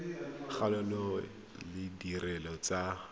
gola le ditirelo tsa go